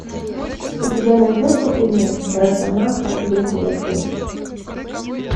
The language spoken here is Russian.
у тебя найдется кино росомаха бессмертный